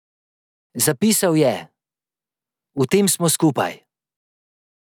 Zapisal je: "V tem smo skupaj.